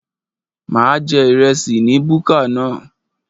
A máa jẹ ìrẹsì ní búkà náà